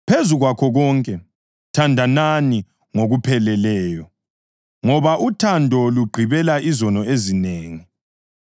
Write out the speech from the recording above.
Phezu kwakho konke, thandanani ngokupheleleyo, ngoba uthando lugqibela izono ezinengi.